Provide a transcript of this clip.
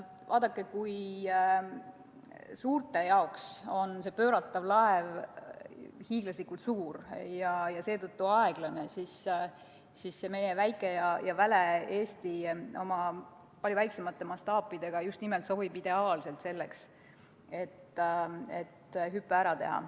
Vaadake, kui suurte jaoks on see pööratav laev hiiglaslikult suur ja seetõttu aeglane, siis meie väike ja väle Eesti oma palju väiksemate mastaapidega just nimelt sobib ideaalselt selleks, et hüpe ära teha.